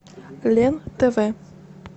лен тв